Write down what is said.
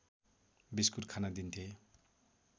biscuit खान दिन्थे